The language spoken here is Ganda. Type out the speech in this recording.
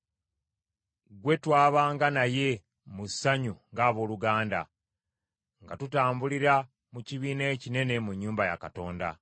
Gwe twabanga naye mu ssanyu ng’abooluganda, nga tutambulira mu kibiina ekinene mu nnyumba ya Katonda.